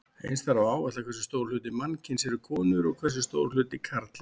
Eins þarf að áætla hversu stór hluti mannkyns eru konur og hversu stór hluti karlar.